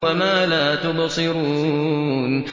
وَمَا لَا تُبْصِرُونَ